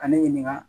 Ka ne ɲininka